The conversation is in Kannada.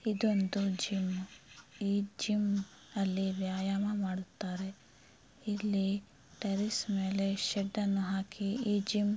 ಇದೊಂದು ಜಿಮ್ ಈ ಜಿಮ್ಮಿನಲ್ಲಿ ವ್ಯಾಯಾಮ ಮಾಡುತ್ತಾರೆ ಇಲ್ಲಿ ಟೆರೇಸ್ ಮೇಲೆ ಶೆಡ್ ಅನ್ನು ಹಾಕಿ ಈ ಜಿಮ್ --